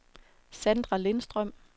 Sandra Lindstrøm